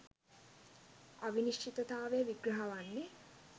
අවිනිශ්චිතතාවය විග්‍රහ වන්නේ